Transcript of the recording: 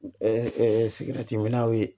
minɛnw ye